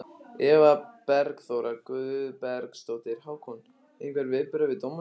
Eva Bergþóra Guðbergsdóttir: Hákon, einhver viðbrögð við dómnum?